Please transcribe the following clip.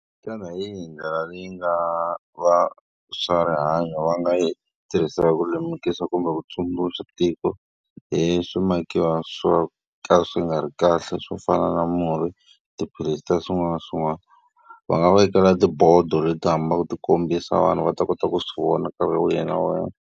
Xana hi yihi ndlela leyi nga vaswarihanyo va nga yi tirhisaka ku lemukisa kumbe ku tsundzuxa tiko hi swimakiwa swo ka swi nga ri kahle, swo fana na murhi, tiphilisi na swin'wana na swin'wana? Va nga vekela tibodo leti hambaka ti kombisa vanhu va ta kota ku swi vona nkarhi wihi na wihi.